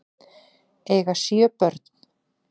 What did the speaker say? Eiga sjö börn